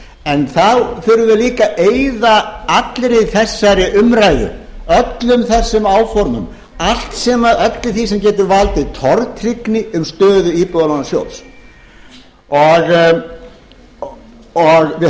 en þá þurfum við líka að eyða allri þessari umræðu öllum þessum áformum öllu því sem getur valdið tortryggni um stöðu íbúðalánasjóð við